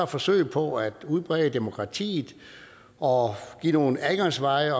forsøg på at udbrede demokratiet og give nogle adgangsveje